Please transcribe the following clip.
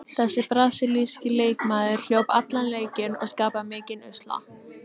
Þessi brasilíski leikmaður hljóp allan leikinn og skapaði mikinn usla.